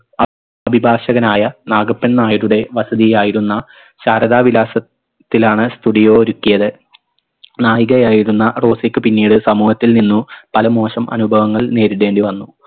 അ അഭിഭാഷകനായ നാഗപ്പൻ നായരുടെ വസതിയായിരുന്ന ശാരദാ വിലാസത്തിലാണ് studio ഒരുക്കിയത് നായികയായിരുന്ന റോസിക്ക് പിന്നീട് സമൂഹത്തിൽ നിന്നു പല മോശം അനുഭവങ്ങൾ നേരിടേണ്ടി വന്നു